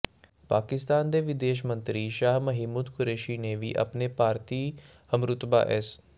ਪਾਕਿਸਤਾਨ ਦੇ ਵਿਦੇਸ਼ ਮੰਤਰੀ ਸ਼ਾਹ ਮਹਿਮੂਦ ਕੁਰੈਸ਼ੀ ਨੇ ਵੀ ਆਪਣੇ ਭਾਰਤੀ ਹਮਰੁਤਬਾ ਐਸ